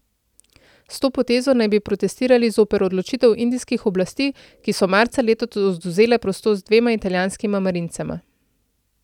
S to potezo naj bi protestirali zoper odločitev indijskih oblasti, ki so marca letos odvzele prostost dvema italijanskima marincema.